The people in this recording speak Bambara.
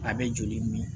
A bɛ joli min